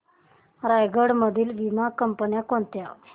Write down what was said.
रायगड मधील वीमा कंपन्या कोणत्या